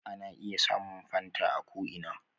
Ana iya samun fanta a ko ina